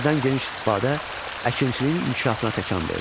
Dəmirdən geniş istifadə əkinçiliyin inkişafına təkan verdi.